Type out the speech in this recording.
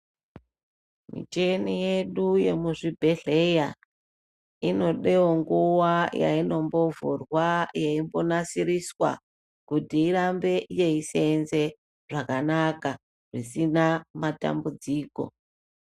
Micheni yedu yemu zvibhedhleya inodewo nguva yainombo vhurwa yeimbo nasiriswa kuti irambe yei senze zvakanaka zvisina matambudziko.